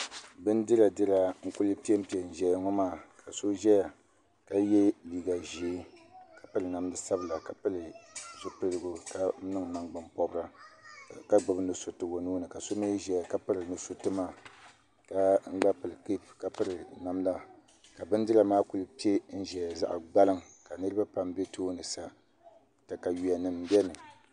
bindira n kuli pempe n zaya ŋɔ maa ka so zaya ka ye liiga ʒee ka piri namda sabla ka pili zupilgu ka niŋ nangban pɔbra ka gbibi nusuriti o nuuni ka so mi ʒɛya ka piri nusuriti maa ka gba pili kepu ka piri namda ka bindira maa kuli pe n ʒiya zaɣ'gbaliŋ ka niriba pam be tooni sa takawiya nima be ni